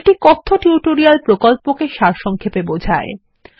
এটি কথ্য টিউটোরিয়াল প্রকল্পকে সারসংক্ষেপে বোঝায়